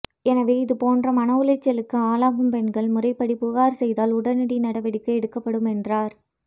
எனவே இது போன்ற மன உளைச்சலுக்கு ஆளாகும் பெண்கள் முறைபடி புகார் செய்தால் உடனடி நடவடிக்கை எடுக்கப்படும் என்றார்